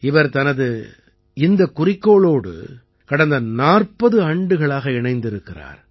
இவர் தனது இந்தக் குறிக்கோளோடு கடந்த 40 ஆண்டுகளாக இணைந்திருக்கிறார்